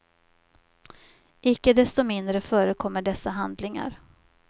Icke desto mindre förekommer dessa handlingar.